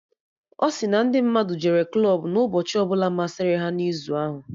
Ọ si na ndị mmadụ jere klọb na ụbọchị ọbụla masịrị ha na izu ahụ